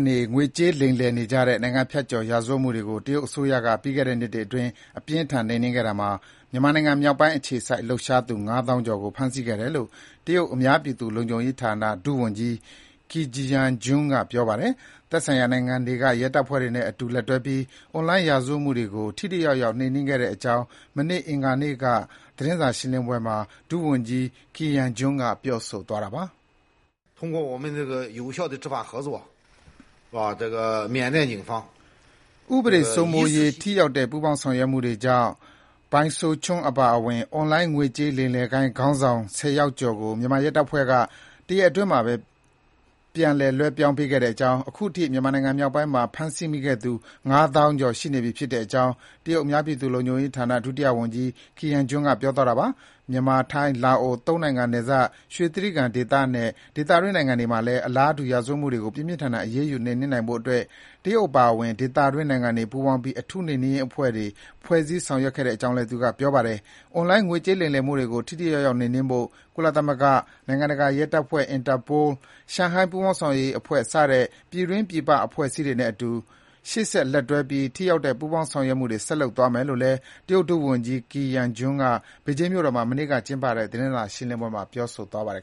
နေ ငွေကြေးလိမ်လည်နေကြတဲ့ နိုင်ငံဖြတ်ကျော် ရာဇဝတ်မှုတွေကို တရုတ်အစိုးရက ပြီးခဲ့တဲ့နှစ်တွေအတွင်း အပြင်းအထန် နှိမ်နင်းခဲ့တာမှာ မြန်မာနိုင်ငံ မြောက်ပိုင်းအခြေစိုက် လှုပ်ရှားသူ ၅ သောင်းကျော်ကို ဖမ်းဆီးခဲ့တယ်လို့ တရုတ် အများပြည်သူ လုံခြုံရေးရာဌာန ဒုဝန်ကြီး Qi Yanjun က ပြောပါတယ်။ သက်ဆိုင်ရာနိုင်ငံတွေက ရဲတပ်ဖွဲ့တွေနဲ့ အတူလက်တွဲပြီး အွန်လိုင်း ရာဇဝတ်မှုတွေကို ထိထိရောက်ရောက် နှိမ်နင်းခဲ့တဲ့အကြောင်း မနေ့ အင်္ဂါနေ့က သတင်းစာရှင်းလင်းပွဲမှာ ဒုဝန်ကြီး Qi Yanjun က ပြောဆိုသွားတာပါ။ ဥပဒေစိုးမိုးရေး ထိရောက်တဲ့ ပူးပေါင်း ဆောင်ရွက်မှုတွေကြောင့် Bai Suocheng အပါအဝင် အွန်လိုင်း ငွေကြေး လိမ်လည်ဂိုဏ်း ခေါင်းဆောင် ၁၀ ယောက်ကျော်ကို မြန်မာရဲတပ်ဖွဲ့က တရက်အတွင်းမှာပဲ ပြန်လွှဲပြောင်းပေးခဲ့ကြောင်း၊ အခုထိ မြန်မာနိုင်ငံ မြောက်ပိုင်းမှာ ဖမ်းဆီးမိတဲ့သူ ၅ သောင်းကျော် ရှိနေပြီလို့ တရုတ် အများပြည်သူ လုံခြုံရေးရာ ဌာန ဒုဝန်ကြီး Qi Yanjun က ပြောသွားတာပါ။ မြန်မာ၊ ထိုင်း၊ လာအို သုံးနိုင်ငံ နယ်စပ် ရွှေတြိဂံဒေသ နဲ့ ဒေသတွင်း နိုင်ငံတွေမှာလည်း အလားတူ ရာဇဝတ်မှုတွေကို ပြင်းပြင်းထန်ထန် အရေးယူ နှိမ်နင်းနိုင်ဖို့အတွက် တရုတ်အပါအဝင် ဒေသတွင်း နိုင်ငံတွေ ပူးပေါင်းပြီး အထူး နှိမ်နင်းရေးအဖွဲ့တွေ ဖွဲ့စည်း ဆောင်ရွက်ခဲ့ကြောင်းလည်း သူက ပြောပါတယ်။ အွန်လိုင်း ငွေကြေး လိမ်လည်မှုတွေကို ထိထိရောက်ရောက် နှိမ်နင်းဖို့ ကုလသမဂ္ဂ၊ နိုင်ငံတကာရဲတပ်ဖွဲ့ Interpol ၊ ရှန်ဟိုင်း ပူးပေါင်းဆောင်ရွက်ရေးအဖွဲ့ စတဲ့ ပြည်တွင်းပြည်ပ အဖွဲ့အစည်းတွေနဲ့အတူ ရှေ့ဆက် လက်တွဲပြီး ထိရောက်တဲ့ ပူးပေါင်း ဆောင်ရွက်မှုတွေ ဆက်လုပ်သွားမယ်လို့လည်း တရုတ် ဒုဝန်ကြီး Qi Yanjun က ဘေဂျင်းမြို့တော်မှာ မနေ့က ကျင်းပတဲ့ သတင်းစာရှင်းလင်းပွဲမှာ ပြောဆိုသွားပါတယ်